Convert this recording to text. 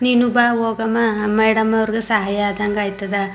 ನೀನು ಬಾ ಹೋಗೋಮಾ ಮೇಡಂ ಅವ್ರಿಗೆ ಸಹಾಯ ಆದಂಗ ಆಯತ್ತದ್.